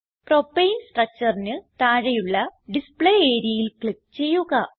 propane structureന് താഴെയുള്ള display areaയിൽ ക്ലിക്ക് ചെയ്യുക